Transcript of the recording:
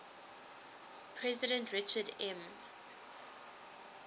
president richard m